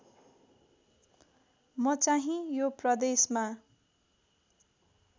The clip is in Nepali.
म चाहिँ यो प्रदेशमा